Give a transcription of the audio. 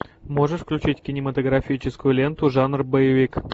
можешь включить кинематографическую ленту жанр боевик